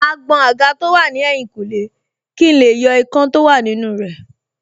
Màá gbọn àga tó wà ní ẹ̀yìnkùlé kí n lè yọ ikán tó wà nínú rẹ̀